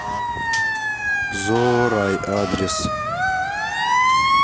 зоорай адрес